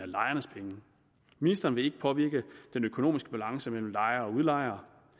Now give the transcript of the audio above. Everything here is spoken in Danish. lejernes penge ministeren vil ikke påvirke den økonomiske balance mellem lejere